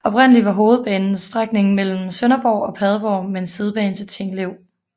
Oprindeligt var hovedbanen strækningen mellem Sønderborg og Padborg med en sidebane til Tinglev